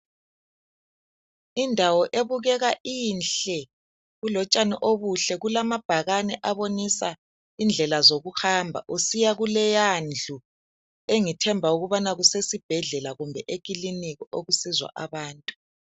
Indawo ebukeka inhle, kulotshani obuhle kulamabhakane abonisa indlela zokuhamba usiya kuleyandlu, engithemba ukuthi kusesibhedlela kumbe eklilinika okusizwa abantu.